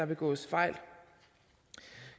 begås fejl